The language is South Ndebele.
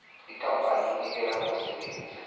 ikampani enikela ngomsebenzi